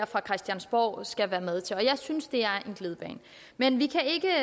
fra christiansborgs side skal være med til og jeg synes det er en glidebane men vi kan ikke